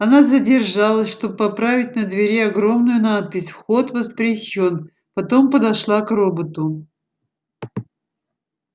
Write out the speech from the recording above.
она задержалась чтобы поправить на двери огромную надпись вход воспрещён потом подошла к роботу